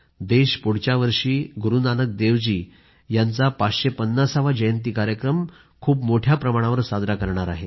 देश पुढच्या वर्षी गुरूनानक देव जी यांचा 550 वा जयंती कार्यक्रम खूप मोठ्या प्रमाणावर साजरा करणार आहे